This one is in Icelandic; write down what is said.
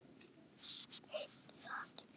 Einn sat hjá.